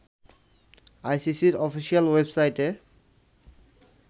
আইসিসির অফিশিয়াল ওয়েবসাইটে